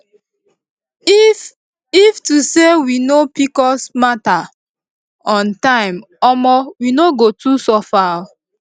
if if to say we know pcos matter on time omo we no go too suffer oo